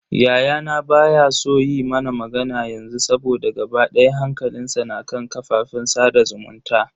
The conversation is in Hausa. Yayana baya so yi mana magana yanzu saboda gaba daya hankalinsa na kan kafafen sada zumunta.